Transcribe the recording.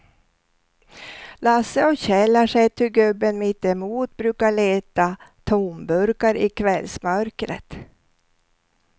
Lasse och Kjell har sett hur gubben mittemot brukar leta tomburkar i kvällsmörkret.